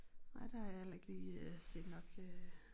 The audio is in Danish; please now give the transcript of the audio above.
Nej der har jeg heller ikke lige øh set nok øh